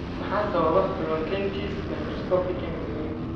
Maxaa sababa polyangiitis microscopic (MPA)?